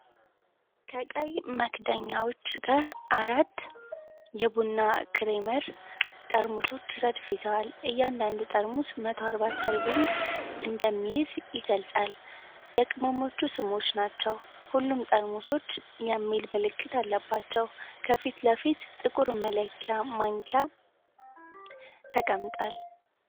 ከቀይ መክደኛዎች ጋር አራት Nestle Coffee mate የቡና ክሬመር ጠርሙሶች ረድፍ ይዘዋል። እያንዳዱ ጠርሙስ 140 ሰርቪንግ እንደሚይዝ ይገልጻል። የቅመሞቹ ስሞች ናቸው። ሁሉም ጠርሙሶች GLUTEN FREE የሚል ምልክት አለባቸው። ከፊት ለፊት ጥቁር መለኪያ ማንኪያ ተቀምጧል።